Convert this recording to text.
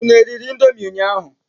Unu eriri indomi ụnyaahụ?